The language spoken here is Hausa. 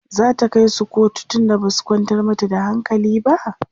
zata kaisu kotu tunda Basu kwantar mata da hankali ba?